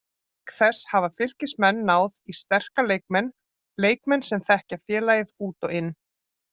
Auk þess hafa Fylkismenn náð í sterka leikmenn, leikmenn sem þekkja félagið út og inn.